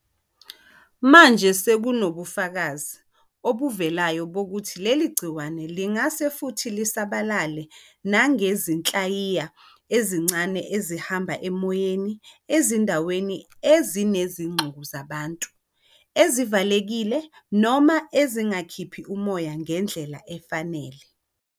Manje sekunobufakazi obuvelayo bokuthi leli gciwane lingase futhi lisabalale nangezinhlayiya ezincane ezihamba emoyeni ezindaweni ezinezixuku zabantu, ezivalekile noma ezingakhiphi umoya ngendlela efanele.